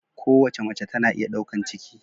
Kowace mace tana iya daukan ciki.